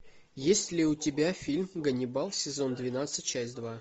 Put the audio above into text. есть ли у тебя фильм ганнибал сезон двенадцать часть два